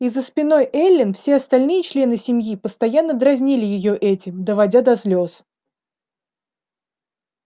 и за спиной эллин все остальные члены семьи постоянно дразнили её этим доводя до слез